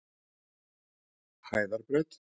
Hæðarbraut